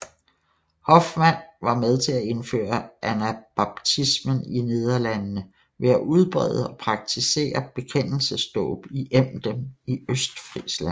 Hoffman var med til at indføre anabaptismen i Nederlandene ved at udbrede og praktisere bekendelsesdåb i Emden i Østfrisland